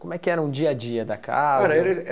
Como era o dia a dia da casa? Olha era